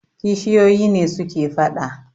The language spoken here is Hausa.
kishiyoyi ne suke fada